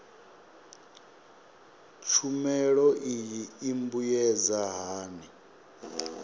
tshumelo iyi i mbuyedza hani